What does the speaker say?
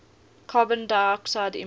carbon dioxide emissions